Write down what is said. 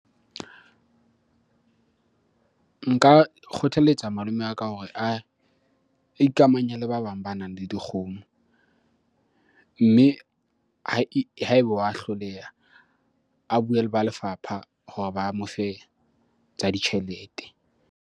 Nka kgothaletsa malome wa ka hore a ikamanya le ba bang banang le dikgomo. Mme ha ebe wa hloleha, a bue le ba lefapha hore ba mo fe tsa ditjhelete.